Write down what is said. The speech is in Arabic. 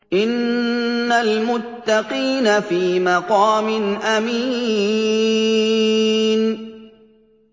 إِنَّ الْمُتَّقِينَ فِي مَقَامٍ أَمِينٍ